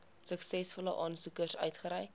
suksesvolle aansoekers uitgereik